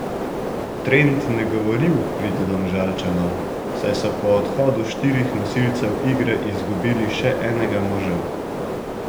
Trend ne govori v prid Domžalčanov, saj so po odhodu štirih nosilcev igre izgubili še enega moža.